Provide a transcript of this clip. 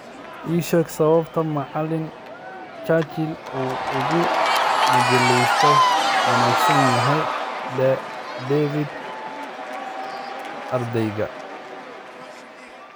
ii sheeg sababta macalin Churchill uu uga majaajiliiste wanaagsan yahay David ardayga